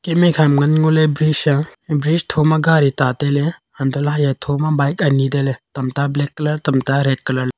em khakma ngan ngoley bridge a e bridge thoma gari ta tailey hantohley haya thoma bike ani tailey tamta black colour tamta red colour ley.